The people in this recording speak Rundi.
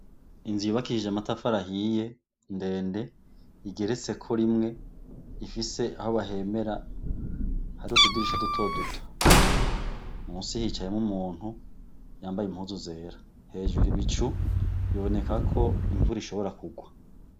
Inzu yubakishije amatafari ahiye ndende igeretseko rimwe, ifise aho bahemera hari utudirisha duto duto. Musi hicayemwo umuntu yambaye impuzu zera, hejuru ibicu biboneka ko imvura ishobora kurwa.